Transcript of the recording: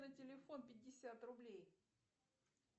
на телефон пятьдесят рублей